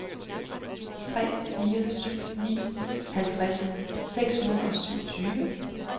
tre fire syv ni halvtreds seks hundrede og syvogtyve